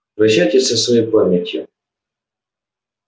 прощайтесь со своей памятью